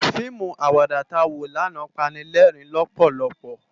Fiimú àwàdá tá wó làná pàni lèrin lòpòlòpò